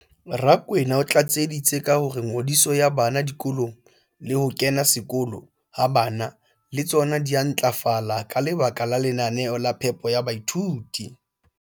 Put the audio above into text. Rakwena o tlatseditse ka hore ngodiso ya bana dikolong le ho kena sekolo ha bana le tsona di a ntlafala ka lebaka la lenaneo la phepo ya baithuti.